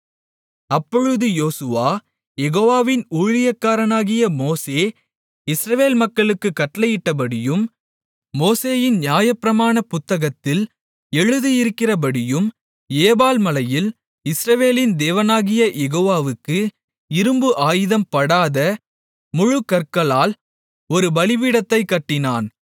அப்பொழுது யோசுவா யெகோவாவின் ஊழியக்காரனாகிய மோசே இஸ்ரவேல் மக்களுக்குக் கட்டளையிட்டபடியும் மோசேயின் நியாயப்பிரமாண புத்தகத்தில் எழுதியிருக்கிறபடியும் ஏபால் மலையில் இஸ்ரவேலின் தேவனாகிய யெகோவாவுக்கு இரும்பு ஆயுதம் படாத முழுக்கற்களால் ஒரு பலிபீடத்தைக் கட்டினான்